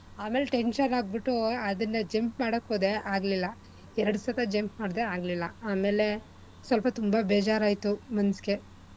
ಆಮೇಲ್ tension ಆಗ್ಬಿಟು ಅದನ್ನ jump ಮಾಡಕ್ ಹೋದೆ ಆಗ್ಲಿಲ್ಲ. ಎರ್ಡ್ ಸತ jump ಮಾಡ್ದೆ ಆಗ್ಲಿಲ್ಲ ಆಮೇಲೆ ಸೊಲ್ಪ ತುಂಬಾ ಬೇಜಾರ್ ಆಯ್ತು ಮನ್ಸ್ಗೆ.